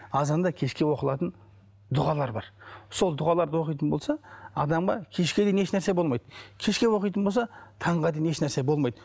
азанда кешке оқылатын дұғалар бар сол дұғаларды оқитын болса адамға кешке дейін ешнәрсе болмайды кешке оқитын болса таңға дейін ешнәрсе болмайды